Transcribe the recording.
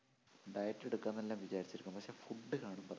diet എടുക്കാമെന്നെല്ലാം വിചാരിച്ചിരിക്കും പക്ഷേ food കാണുമ്പോ